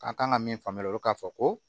A kan ka min faamuya k'a fɔ ko